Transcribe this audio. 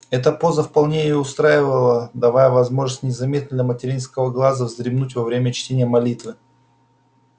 эта поза вполне её устраивала давая возможность незаметно для материнского глаза вздремнуть во время чтения молитвы